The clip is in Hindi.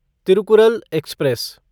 तिरुकुरल एक्सप्रेस